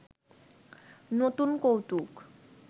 নতুন কৌতুক